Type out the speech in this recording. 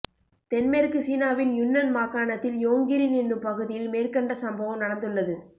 தென்மேற்கு சீனாவின் யுன்னன் மாகாணத்தில் யோங்கிரின் எனும் பகுதியில் மேற்கண்ட சம்பவம் நடந்துள்ளது